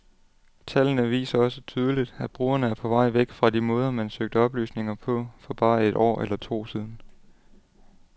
Tallene viser også tydeligt, at brugerne er på vej væk fra de måder, man søgte oplysninger på for bare et år eller to siden.